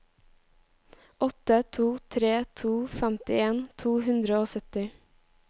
åtte to tre to femtien to hundre og sytti